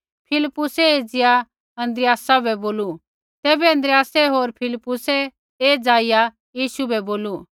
फिलिप्पुसै एज़िया अन्द्रियासा बै बोलू तैबै अन्द्रियास होर फिलिप्पुस ऐ जाईया यीशु बै बोलू